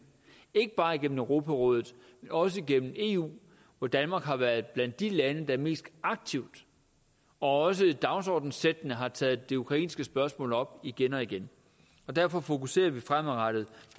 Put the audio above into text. ikke bare gennem europarådet men også gennem eu hvor danmark har været blandt de lande der mest aktivt og også dagsordenssættende har taget det ukrainske spørgsmål op igen og igen og derfor fokuserer vi fremadrettet